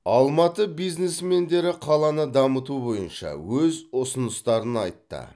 алматы бизнесмендері қаланы дамыту бойынша өз ұсыныстарын айтты